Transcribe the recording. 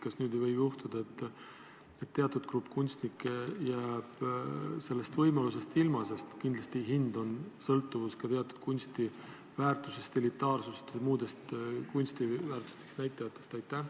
Kas nüüd ei või juhtuda nii, et teatud grupp kunstnikke jääb sellest võimalusest ilma, sest kindlasti on teose hind sõltuvuses ka teatud kunsti väärtusest, elitaarsusest ja muudest kunsti väärtuse näitajatest?